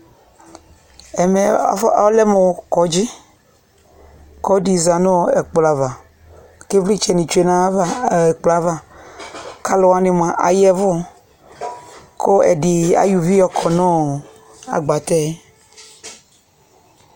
Ɛmɛ afɔ ɛlɛmʋ bʋ kɔdzɩ k'ɔlɔdɩ zã nʋ ɛkplɔ ava, k'ɩvlɩtsɛnɩ tsue n'ayava, ɛkplɔ yɛ ava k'alʋwanɩ mʋa aya ɛvʋ, kʋ ɛdɩ ayɔ uvi yɔkɔ nʋ agbatɛ